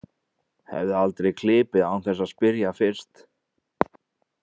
Hefði aldrei klipið án þess að spyrja fyrst.